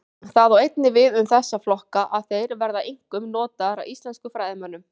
Það á einnig við um þessa flokka að þeir verða einkum notaðir af íslenskum fræðimönnum.